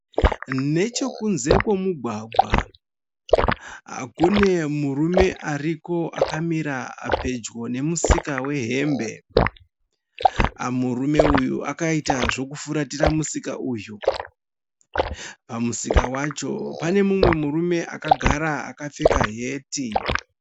Nechekunze kwemugwagwa kune murume ariko akamira pedyo nemusika wehembe. Murume uyu akaita zvokufuratira musika uyu. Pamusika wacho pane mumwe murumwe akagara akapfeka heti.